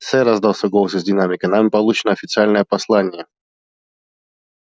сэр раздался голос из динамика нами получено официальное послание